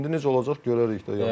İndi necə olacaq görərik də.